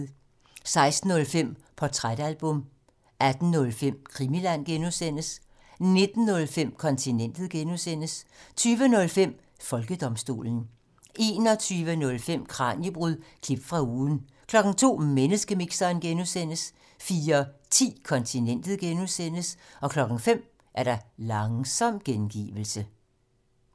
16:05: Portrætalbum 18:05: Krimiland (G) 19:05: Kontinentet (G) 20:05: Folkedomstolen 21:05: Kraniebrud – klip fra ugen 02:00: Menneskemixeren (G) 04:10: Kontinentet (G) 05:00: Langsom gengivelse